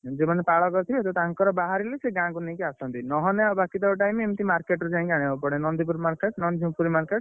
ଯୋଉ ମାନେ ପାଳ କରିଥିବେ ତ ତାଙ୍କର ବାହାରିଲେ ସେଗାଁକୁ ନେଇକି ଆସନ୍ତି, ନହେଲେ ବାକିତକ time market ରୁ ଯାଇକି ଆଣିବାକୁ ପଡେ ନନ୍ଦୀପୁର market ନନ୍ଦୀପୁର market